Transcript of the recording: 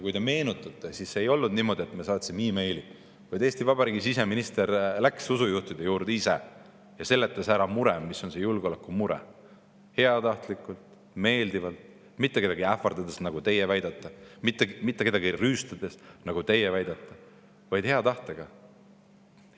Meenutage, et ei olnud niimoodi, et me saatsime meili, vaid Eesti Vabariigi siseminister läks ise usujuhtide juurde ja seletas neile ära, mis on see julgeoleku mure – heatahtlikult, meeldivalt, mitte kedagi ähvardades, nagu teie väidate, mitte kedagi rüüstates, nagu teie väidate, vaid hea tahtega.